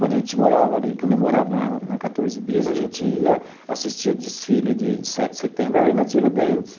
Quando a gente morava ali, quando eu morava na na Quatorze Bis, a gente ia assistir o desfile de sete de setembro ali na Tiradentes.